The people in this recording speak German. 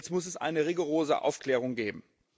Jetzt muss es eine rigorose Aufklärung geben.